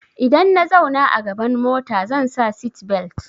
Idan na zauna a gaban mota zan sa seatbelt.